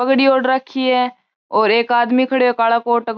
पगड़ी ओड राखी है और एक आदमी खड़ो है कालो कोट --